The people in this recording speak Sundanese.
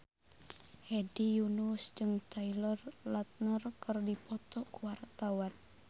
Hedi Yunus jeung Taylor Lautner keur dipoto ku wartawan